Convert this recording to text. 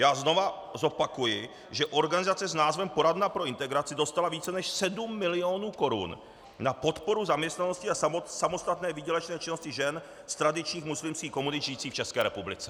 Já znovu zopakuji, že organizace s názvem Poradna pro integraci dostala více než 7 mil. korun na podporu zaměstnanosti a samostatné výdělečné činnosti žen z tradičních muslimských komunit žijících v České republice.